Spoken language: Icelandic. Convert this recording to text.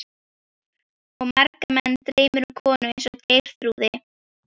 Og marga menn dreymir um konu eins og Geirþrúði.